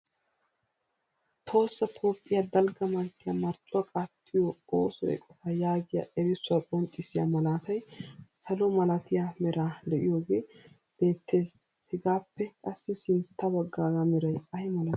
Tohossa Toophiya dalgga manttiya marccuwa qaatiyo ooso eqqota yaagiya erissuwa qonccissiya malatay salo malatiya mera de'iyoogee beettees. hegappe qassi sintta baggaaga meray ay malati?